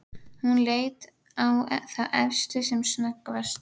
Hún leit á þá efstu sem snöggvast.